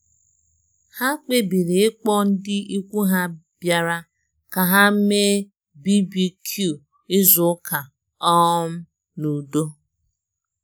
Ha kpebiri ịkpọ ndị ikwu ha bịara ka ha mee BBQ izu ụka um n’udo.